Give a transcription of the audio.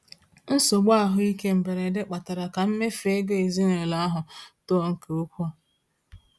Nsogbu ahụike mberede kpatara ka mmefu ego ezinụlọ ahụ too nke ukwuu.